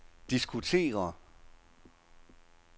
diskutere